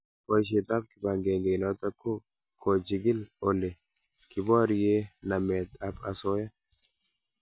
boishet ab kipageneinotok ko kochikil ole kiporie namet ab asoya